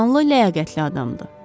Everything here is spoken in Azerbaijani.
Vicdanlı, ləyaqətli adamdır.